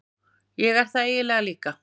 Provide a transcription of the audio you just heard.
Ég er það eiginlega líka.